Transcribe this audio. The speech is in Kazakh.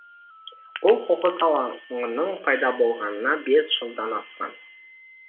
бұл қоқыс алаңының пайда болғанына бес жылдан асқан